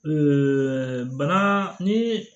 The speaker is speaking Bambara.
bana ni